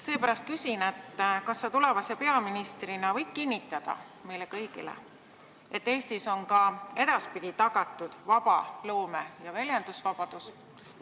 Seepärast küsin: kas sa tulevase peaministrina võid kinnitada meile kõigile, et Eestis on ka edaspidi tagatud loome- ja väljendusvabadus?